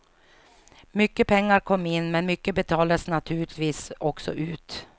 Mycket pengar kom in, men mycket betalades naturligtvis också ut.